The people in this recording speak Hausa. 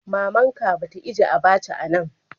Mama'n ka be ta ijie abacha'n a'nan.